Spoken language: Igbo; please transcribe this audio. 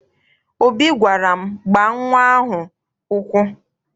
Obi gwara m, gbaa nnwa ahụ ụkwụ!